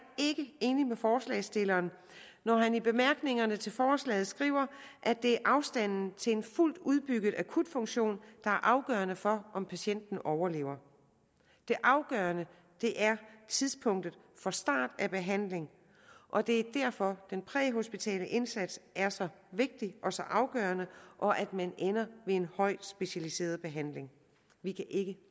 enig med forslagsstilleren når han i bemærkningerne til forslaget skriver at det er afstanden til en fuldt udbygget akutfunktion der er afgørende for om patienten overlever det afgørende er tidspunktet for start af behandling og det er derfor den præhospitale indsats er så vigtig og så afgørende og at man ender med en højt specialiseret behandling vi kan ikke